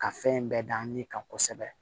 Ka fɛn in bɛɛ d'an ye kan kosɛbɛ